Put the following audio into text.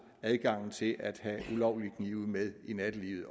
adgangen til at have ulovlige knive med i nattelivet